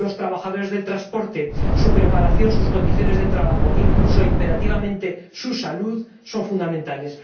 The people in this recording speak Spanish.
Los trabajadores del transporte, su preparación, sus condiciones de trabajo, incluso imperativamente su salud son fundamentales.